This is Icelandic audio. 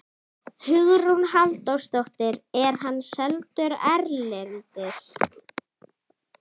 Hugrún Halldórsdóttir: Er hann seldur erlendis?